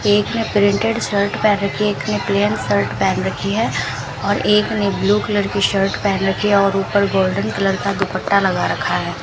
एक ने printed shirt पहन रखी है एक ने प्लेन शर्ट पहन रखी है और एक ने ब्लू कलर की शर्ट पहन रखी है और ऊपर गोल्डन कलर का दुपट्टा लगा रखा है।